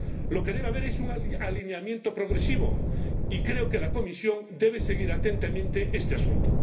Lo que debe haber es un alineamiento progresivo y creo que la Comisión debe seguir atentamente este asunto.